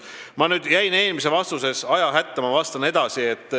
Ma jäin eelmise vastusega ajahätta, ma vastan edasi.